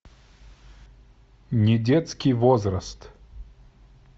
недетский возраст